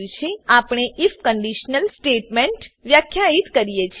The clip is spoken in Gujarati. ત્યારબાદ આપણે આઇએફ કંડીશનલ સ્ટેટમેંટ વ્યાખ્યિત કરીએ છીએ